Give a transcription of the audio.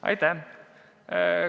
Aitäh!